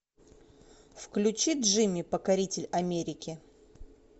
включи джимми покоритель америки